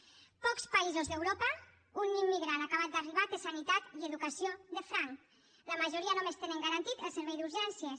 en pocs països d’europa un immigrant acabat d’arribar té sanitat i educació de franc la majoria només tenen garantit el servei d’urgències